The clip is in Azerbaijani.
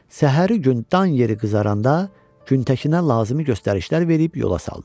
Səhəri gün dan yeri qızaranda Güntəkinə lazımi göstərişlər verib yola saldı.